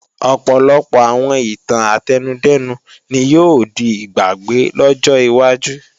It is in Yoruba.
Ọ̀pọ̀lọpọ̀ àwọn ìtàn átẹnudẹ́nu ni yóò di ìgbàgbé lọ́jọ́ iwájú